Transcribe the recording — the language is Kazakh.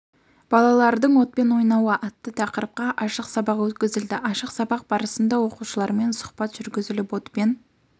балалардың отпен ойнауы атты тақырыпқа ашық сабақ өткізілді ашық сабақ барысында оқушылармен сұхбат жүргізіліп отпен